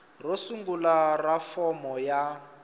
ro sungula ra fomo ya